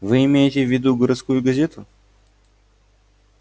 вы имеете в виду городскую газету